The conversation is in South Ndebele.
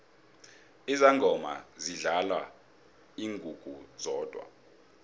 izangoma zidlala ingungu zodwa